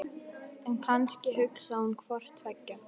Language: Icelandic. En kannski hugsaði hún hvort tveggja.